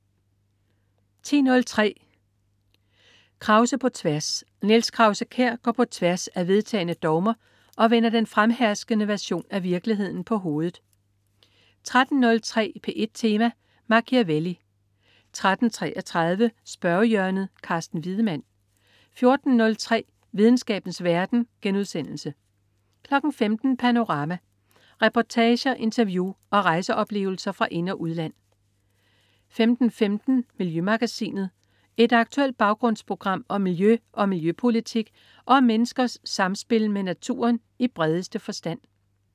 10.03 Krause på tværs. Niels Krause-Kjær går på tværs af vedtagne dogmer og vender den fremherskende version af virkeligheden på hovedet 13.03 P1 Tema: Machiavelli 13.33 Spørgehjørnet. Carsten Wiedemann 14.03 Videnskabens verden* 15.00 Panorama. Reportager, interview og rejseoplevelser fra ind- og udland 15.15 Miljømagasinet. Et aktuelt baggrundsprogram om miljø og miljøpolitik og om menneskers samspil med naturen i bredeste forstand